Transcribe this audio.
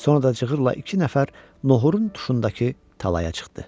Sonra da cığırla iki nəfər nohurun tuşundakı talaya çıxdı.